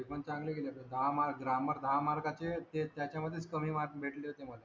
ते पण चांगले गेले असा दहा mark grammar दहा mark चे ते त्याच्यामध्येच कमी marks भेटले होते मला